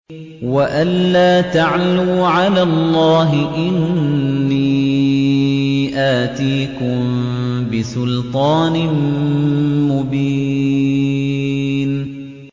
وَأَن لَّا تَعْلُوا عَلَى اللَّهِ ۖ إِنِّي آتِيكُم بِسُلْطَانٍ مُّبِينٍ